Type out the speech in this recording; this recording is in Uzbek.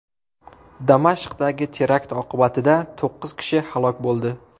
Damashqdagi terakt oqibatida to‘qqiz kishi halok bo‘ldi.